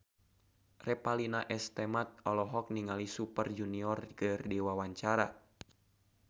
Revalina S. Temat olohok ningali Super Junior keur diwawancara